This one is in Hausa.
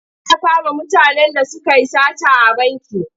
Za a kama mutanen da suka yi sata a banki.